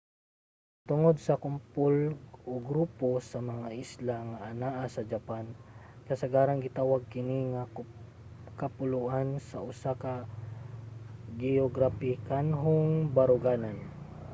tungod sa kumpol/grupo sa mga isla nga anaa sa japan kasagarang gitawag kini nga kapuluan sa usa ka geograpikanhong baruganan